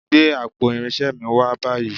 Gbé àpò irinṣẹ́ mi wá báyìí